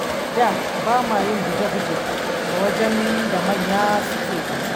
A da bama yin guje-guje a wajen da manya suke zama.